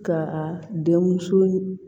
Ka a denmuso